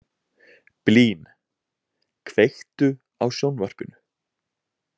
Blín, kveiktu á sjónvarpinu.